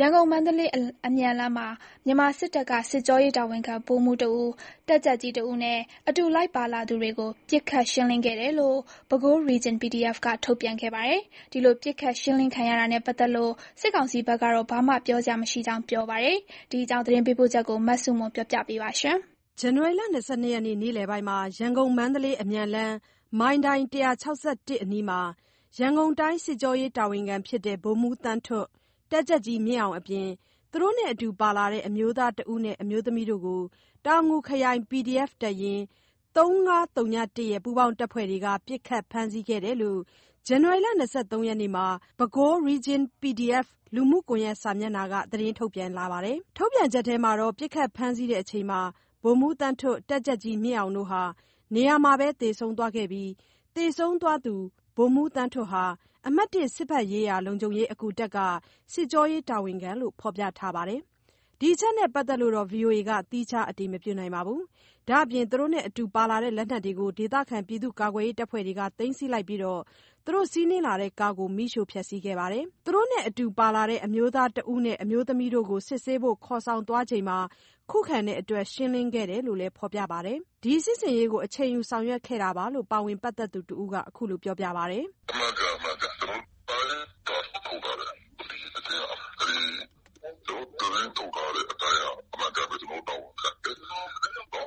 ရန်ကုန်-မန္တလေး အမြန်လမ်းမှာ မြန်မာစစ်တပ်က စစ်ကြောရေးတာဝန်ခံ ဗိုလ်မှူးတဦး၊ တပ်ကြပ်ကြီးတဦးနဲ့ အတူလိုက်ပါလာသူတွေကို ပစ်ခတ်ခတ်ရှင်းလင်းခဲ့တယ်လို့ Bago Region PDF က ထုတ်ပြန်ခဲ့ပါတယ်။ ဒီလို ပစ်ခတ်ရှင်းလင်းခံရတာနဲ့ ပတ်သက်လို့ စစ်ကောင်စီဘက်ကတော့ ဘာမှပြောစရာမရှိကြောင်း ဆိုပါတယ်။ ဒီအကြောင်း သတင်းပေးပို့ချက်ကို မဆုမွန်က ပြောပြပါမယ်။ ဇန်နဝါရီ ၂၂ ရက် နေ့လည်ပိုင်းမှာ ရန်ကုန် - မန္တလေး အမြန်လမ်း မိုင်တိုင် ၁၆၁ အနီးမှာ ရန်ကုန်တိုင်း စစ်ကြောရေးတာဝန်ခံ ဖြစ်တဲ့ ဗိုလ်မှူးသန်းထွဋ် ၊ တပ်ကြပ်ကြီးမြင့်အောင်အပြင် သူတို့နဲ့ အတူပါလာတဲ့ အမျိုးသား ၁ ဦးနဲ့ အမျိုးသမီးတို့ကို တောင်ငူခရိုင် PDF တပ်ရင်း ၃၅၀၁ ရဲ့ ပူးပေါင်း တပ်ဖွဲ့တွေက ပစ်ခတ်ဖမ်းဆီးခဲ့တယ်လို့ ဇန်နဝါရီ ၂၃ ရက်မှာ Bago Region PDF လူမူကွန်ရက်စာမျက်နှာက သတင်းထုတ်ပြန်လာတာပါ။ ထုတ်ပြန်ချက်ထဲမှာတော့ ပစ်ခတ်ဖမ်းဆီးချိန်မှာ ဗိုလ်မှူးသန်းထွဋ် တပ်ကြပ်ကြီးမြင့်အောင်တို့ဟာ နေရာမှာပဲ သေဆုံးသွားခဲ့ပြီး သေဆုံးသွားသူ ဗိုလ်မှူးသန်းထွဋ်ဟာ အမှတ် (၁) စစ်ဘက်ရေးရာ လုံခြုံရေး အကူတပ်က စစ်ကြောရေးတာဝန်ခံလို့ဖော်ပြထားပါတယ်။ ဒီအချက်နဲ့ပတ်သက် ဗွီအိုအေက သီးခြားအတည်မပြုနိုင်ပါဘူး။ ဒါ့ပြင်သူတို့တွေနဲ့အတူ ပါလာတဲ့လက်နက်တွေကို ဒေသခံကာကွယ်ရေးအဖွဲ့တွေက သိမ်းဆည်းလိုက်ပြီး စီးနင်းလာတဲ့ကားကို မီးရှို့ဖျက်ဆီးခဲ့ပါတယ်။ သူတို့နဲ့ အတူပါလာတဲ့ အမျိုးသား ၁ ဦးနဲ့ အမျိုးသမီးတို့ကို စစ်ဆေးဖို့ ခေါ်ဆောင်သွားချိန်မှာ ခုခံတဲ့အတွက် ရှင်းလင်းခဲ့တယ်လို့လည်း ဖော်ပြထားပါတယ်။ ဒီ စစ်ဆင်ရေးကို အချိန်ယူဆောင်ရွက်ခဲ့တာလို့ ပါဝင်ပတ်သက်သူတဦးက ပြောပါတယ်။ “ကျွန်တော်တို့သတင်းထုတ်ထားတဲ့အတိုင်းက အမှန်အကန်ပဲ ကျွန်တော်တို့တာဝန်ခံတယ်။ ကျွန်တော်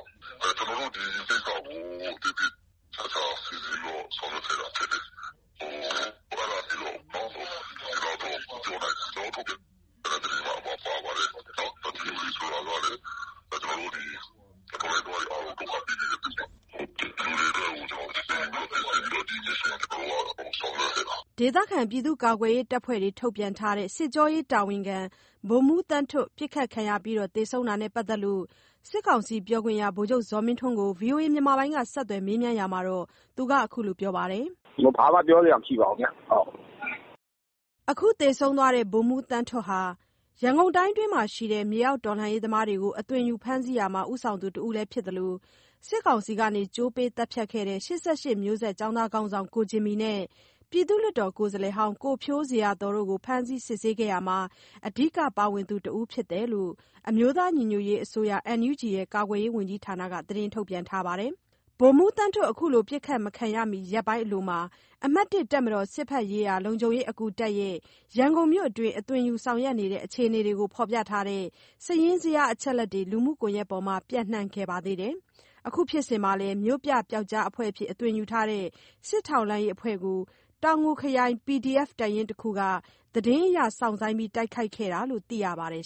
တို့ ဒီကိစ္စကို သေသေချာချာစီစဉ်ပြီးတော့ ဆောင်ရွက်ခဲ့တာဖြစ်တယ်။ ဒီလောက်တော့ ပြောနိုင်တယ်။ ကျွန်တော်တို့ ထုတ်ပြန်တဲ့သတင်းမှာ ပါပါတယ်။ ဒီလူတွေဆိုတာလည်း တော်လှန်ရေးသမားတွေ အားလုံးကို ဒုက္ခပေးနေတဲ့သူတွေ ဒီလူတွေအတွက်ကို မစ်ရှင်ကို အချိန်ယူပြီးတော့ ဆောင်ရွက်ခဲ့တာ။” ဒေသခံကာကွယ်ရေးတပ်ဖွဲ့တွေ ထုတ်ပြန်ထားတဲ့ စစ်ကြောရေးတာဝန်ခံ ဗိုလ်မှူးသန်းထွဋ် ပစ်ခတ်ခံရပြီး သေဆုံးတာနဲ့ ပတ်သက်လို့ စစ်ကောင်စီ ပြောခွင့်ရ ဗိုလ်ချုပ်ဇော်မင်းထွန်းကို ဗွီအိုအေက မေးမြန်းရာမှာ အခုလို ပြောပါတယ်။ “ဘာမှ ပြောစရာမရှိပါဘူးဗျာ။” အခုသေဆုံးသွားတဲ့ ဗိုလ်မှူးသန်းထွဋ်ဟာ ရန်ကုန်တိုင်းအတွင်းမှာရှိတဲ့ မြေအောက်တော်လှန်ရေးသမားတွေကို အသွင်ယူဖမ်းဆီးရာမှာ ဦးဆောင်သူ တဦးဖြစ်သလို စစ်ကောင်စီက ကြိုးပေးသတ်ဖြတ်ခဲ့တဲ့ ၈၈ မျိုးဆက် ကျောင်းသားခေါင်းဆောင် ကိုဂျင်မီနဲ့ ပြည်သူ့လွှတ်တော် ကိုယ်စားလှယ်ဟောင်း ကိုဖြိုးဇေယျာသော်တို့ကို ဖမ်းဆီးစစ်ဆေးခဲ့ရာမှာ အဓိကပါဝင်သူတဦးဖြစ်တယ်လို့ အမျိုးသားညီညွတ်ရေး အစိုးရ ကာကွယ်ရေး ဝန်ကြီးဌာနက သတင်းထုတ်ပြန်ထားပါတယ်။ ဗိုလ်မှူးသန်းထွဋ် အခုလို ပစ်ခတ်မခံရမီ ရက်ပိုင်းအလိုမှာ အမှတ် (၁) တပ်မတော် စစ်ဘက်ရေးရာ လုံခြုံရေးအကူတပ်ရဲ့ ရန်ကုန်မြို့အတွင်း အသွင်ယူဆောင်ရွက်နေတဲ့ အခြေအနေတွေကို ဖော်ပြထားတဲ့ စာရင်းဇယား အချက်အလက်တွေ လူမှုကွန်ရက်ပေါ်မှာ ပျံ့နှံ့ခဲ့ပါသေးတယ်။ အခုဖြစ်စဉ်မှာလည်း မြို့ပြပျောက်ကျားအဖွဲ့အဖြစ် အသွင်ယူထားတဲ့ စစ်ထောက်လှမ်းရေးအဖွဲ့ကို တောင်ငူခရိုင် PDF တပ်ရင်းတခုက သတင်းအရစောင့်ဆိုင်းတိုက်ခိုက်ခဲ့တာလို့ သိရပါတယ်